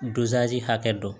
hakɛ dɔn